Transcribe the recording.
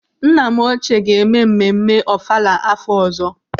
Nna m ochie ga-eme mmemme ọfala afọ ọzọ.